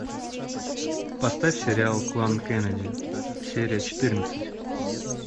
поставь сериал клан кеннеди серия четырнадцать